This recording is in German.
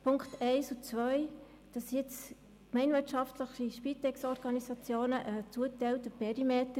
Zu den Punkten 1 und 2: Die gemeinwirtschaftlichen Spitex-Organisationen haben einen zugewiesenen Perimeter.